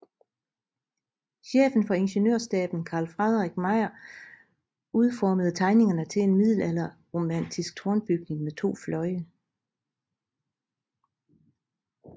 Chefen for Ingeniørstaben Carl Fredrik Meijer udformede tegningerne til en middelalderromantisk tårnbyggning med to fløje